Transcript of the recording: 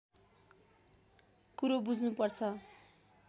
कुरो बुझ्नु पर्छ